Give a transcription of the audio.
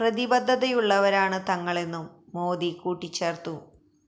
പ്രതിബദ്ധതയുള്ളവരാണ് തങ്ങളെന്നും മോദി കൂട്ടിച്ചേർത്തു